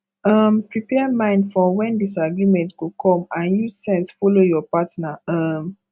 um prepare mind for when disagreement go come and use sense follow your partner um